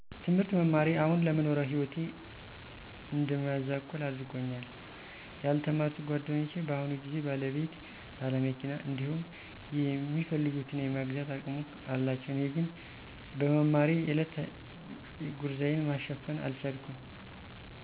ትምህርት መማሬ አሁን ለምኖረው ህይወቴ እድመዛቆል አድርጎኛል። ያልተማሩት ጎደኞቸ በኣሁኑ ግዜ ባለቤት፣ በለመኪና እዲሁም የሚፈልጉትን የመግዛት አቅሙ አላቸዉ እኔ ግን በመማሬ የእለት ጉርዜን መሸፈን አልቻልኩም።